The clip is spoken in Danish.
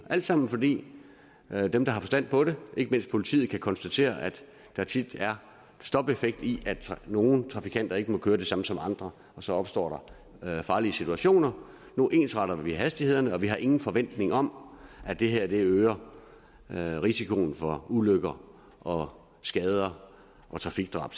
alt sammen fordi dem der har forstand på det ikke mindst politiet kan konstatere at der tit er stopeffekt i at nogle trafikanter ikke må køre det samme som andre så opstår der farlige situationer nu ensretter vi hastighederne og vi har selvfølgelig ingen forventning om at det her øger risikoen for ulykker og skader og trafikdrab